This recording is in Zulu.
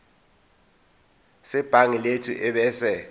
sebhangi lethu ebese